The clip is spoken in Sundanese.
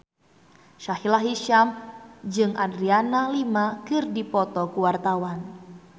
Sahila Hisyam jeung Adriana Lima keur dipoto ku wartawan